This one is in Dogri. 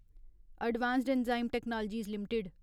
advanced Enzyme Technologies limited